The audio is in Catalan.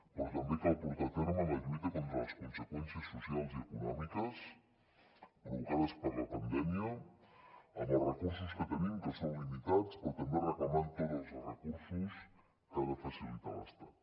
però també cal portar a terme la lluita contra les conseqüències socials i econòmiques provocades per la pandèmia amb els recursos que tenim que són limitats però també reclamant tots els recursos que ha de facilitar l’estat